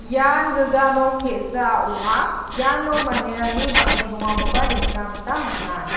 ian gilja nok te·sa ong·a iano manderangni bang·e dongakoba nikna gita man·a.